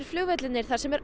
vellirnir þar sem er